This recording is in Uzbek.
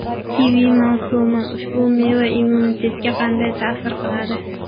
Kivi mavsumi: Ushbu meva immunitetga qanday ta’sir qiladi?.